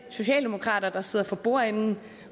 socialdemokrater der sidder for bordenden